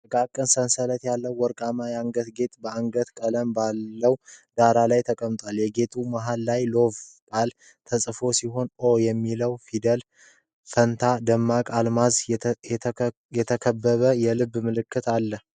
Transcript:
ጥቃቅን ሰንሰለት ያለው ወርቃማ የአንገት ጌጥ በገለልተኛ ቀለም ባለው ዳራ ላይ ተቀምጧል። የጌጡ መሃል ላይ፣ የ"LOVE" ቃል የተጻፈ ሲሆን፣ "O" በሚለው ፊደል ፋንታ ደግሞ በአልማዝ የተከበበ የልብ ምልክት አለ።